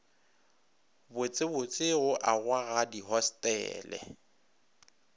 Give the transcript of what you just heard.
botsebotse go agwa ga dihostele